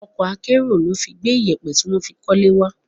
Ọkọ̀ akẹ́rù ló fi gbé iyẹpẹ tí wọ́n fi kọ́lé wá.